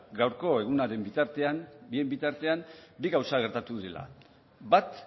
gaurko egunaren bitartean bien bitartean bi gauza gertatu dela bat